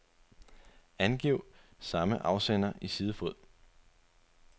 Angiv samme afsender i sidefod.